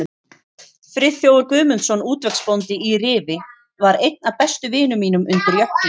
Friðþjófur Guðmundsson, útvegsbóndi í Rifi, var einn af bestu vinum mínum undir Jökli.